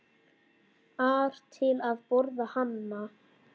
ar til að borða hana.